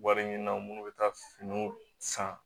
Wari ɲini na minnu bɛ taa finiw san